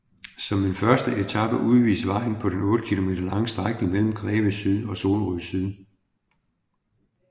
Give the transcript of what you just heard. Som en første etape udvides vejen på den 8 km lange strækning mellem Greve S og Solrød S